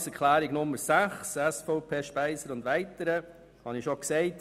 Zu Planungserklärung 6 SVP/Speiser und weitere: Ich habe es bereits gesagt.